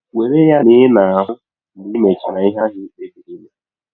Were ya na ị na - ahụ mgbe i mechara ihe ahụ i kpebiri ime.